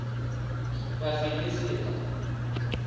vhafiḽisita